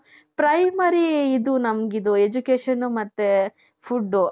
primary ನಮಗಿದು education ಮತ್ತೆ food .